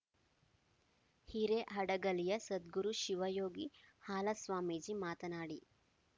ಹಿರೇಹಡಗಲಿಯ ಸದ್ಗುರು ಶಿವಯೋಗಿ ಹಾಲಸ್ವಾಮೀಜಿ ಮಾತನಾಡಿ